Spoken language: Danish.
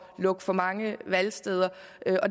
at lukke for mange valgsteder